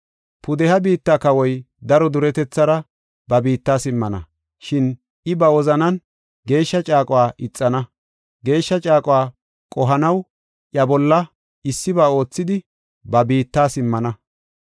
Pudeha biitta kawoy daro duretethara ba biitta simmana. Shin I ba wozanan geeshsha caaquwa ixana. Geeshsha caaquwa qohanaw iya bolla issiba oothidi, ba biitta simmana.